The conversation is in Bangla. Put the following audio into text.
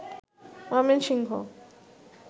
ময়মনসিংহ